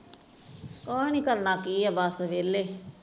ਕੁਝ ਨਹੀਂ ਕਰਨਾ ਕੀ ਆ ਬਸ ਵੇਲੇ